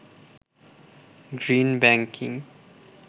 green banking